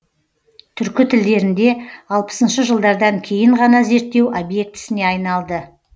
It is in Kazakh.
түркі тілдерінде алпысыншы жылдардан кейін ғана зерттеу объектісіне айналды